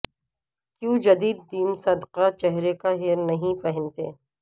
کیوں جدید دن صدقہ چہرے کا ہیئر نہیں پہنتے